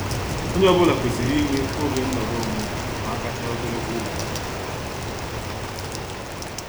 Onye ọ bụla kwesịrị inwe oge nọrọ onwe ma agachaa ogologo ụbọchị.